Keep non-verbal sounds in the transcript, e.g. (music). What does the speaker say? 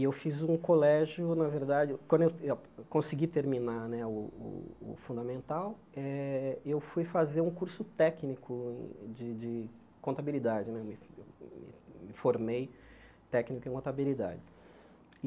E eu fiz um colégio, na verdade, quando eu (unintelligible) consegui terminar né o o o fundamental, eu fui fazer um curso técnico de de contabilidade né, me formei técnico em contabilidade e.